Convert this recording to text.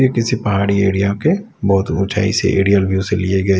ये किसी पहाड़ी एरिया के बहुत ऊंचाई सी ए रियर व्यू से लिए गए --